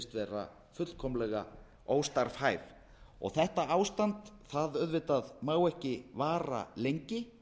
vera fullkomlega óstarfhæf þetta ástand má auðvitað ekki vara lengi